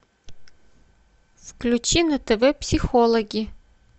включи на тв психологи